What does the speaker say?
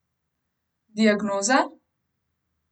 Diagnoza?